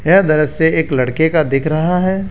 यह दृश्य एक लड़के का दिख रहा है।